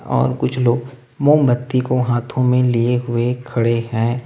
और कुछ लोग मोमबत्ती को हाथों में लिए हुए खड़े हैं।